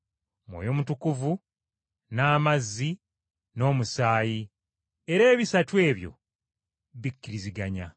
Mwoyo Mutukuvu, n’amazzi, n’Omusaayi, era ebisatu ebyo bikkiriziganya.